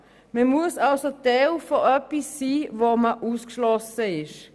Man muss also Teil von etwas sein, von dem man ausgeschlossen ist.